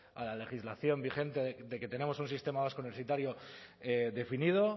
a la legislación vigente de que tenemos un sistema vasco universitario definido